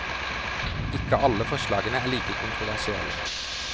Ikke alle forslagene er like kontroversielle.